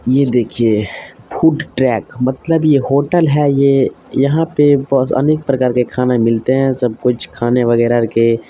ये देखिए food track मतलब ये होटल है ये यहां पे अनेक प्रकार के खाना मिलते है सब कुछ खाने वेगरा के।